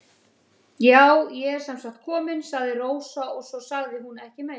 Já, ég er sem sagt komin, sagði Rósa og svo sagði hún ekki meira.